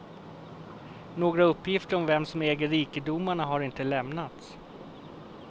Några uppgifter om vem som äger rikedomarna har inte lämnats.